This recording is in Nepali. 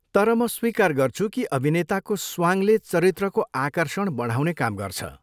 तर म स्वीकार गर्छु कि अभिनेताको स्वाङले चरित्रको आकर्षण बढाउने काम गर्छ।